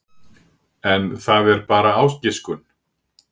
En það er bara ágiskun.